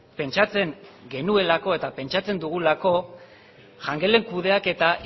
pentsatzen genuelako eta pentsatzen dugulako jangelen kudeaketa